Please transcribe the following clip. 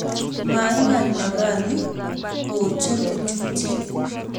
Maikany Emali kocher kochutyi